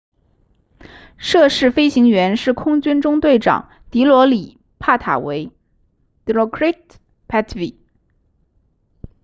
涉事飞行员是空军中队长迪罗里帕塔维 dilokrit pattavee